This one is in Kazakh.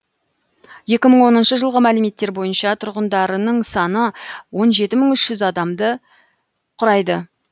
екі мың оныншы жылғы мәліметтер бойынша тұрғындарының саны он жеті мың үш жүз адамды құрайды